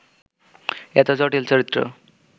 এত জটিল চরিত্র